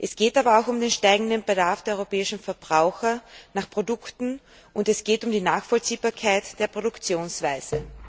Es geht aber auch um den steigenden Bedarf der europäischen Verbraucher nach Produkten und es geht um die Nachvollziehbarkeit der Produktionsweise.